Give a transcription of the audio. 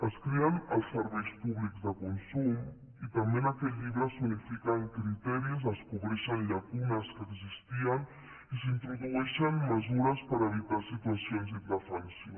es creen els serveis públics de consum i també en aquest llibre s’unifiquen criteris es cobreixen llacunes que existien i s’introdueixen mesures per evitar situacions d’indefensió